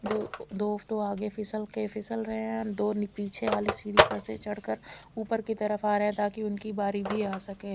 जो दो तो आगे फिसल के फिसल रहे है दो पीछे वाली सीडी पर से चल कर उपर की तरफ आरे ताकि उनकी बारी भी आ सके--